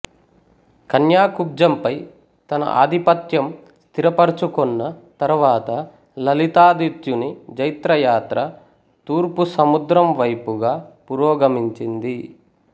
కన్యాకుబ్జంపై తన ఆధిపత్యం స్థిరపరుచుకొన్న తరువాత లలితాదిత్యుని జైత్రయాత్ర తూర్పు సముద్రం వైపుగా పురోగమించింది